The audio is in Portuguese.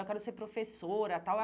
Eu quero ser professora, tal.